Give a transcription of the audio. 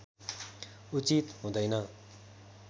उचित हुँदैन